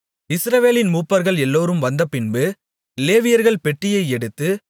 இஸ்ரவேலின் மூப்பர்கள் எல்லோரும் வந்தபின்பு லேவியர்கள் பெட்டியை எடுத்து